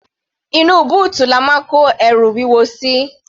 Inú bóòtù ni a máa ń kó ẹrù wúwo sí.